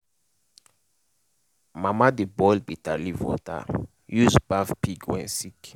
mama dey boil bitterleaf water use baff pig wey sick.